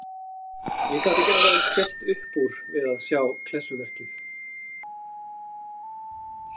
Ég gat ekki annað en skellt upp úr við að sjá klessuverkið.